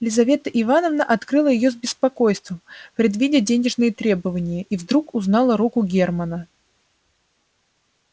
лизавета ивановна открыла её с беспокойством предвидя денежные требования и вдруг узнала руку германа